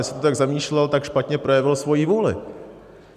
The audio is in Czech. Jestli to tak zamýšlel, tak špatně projevil svoji vůli.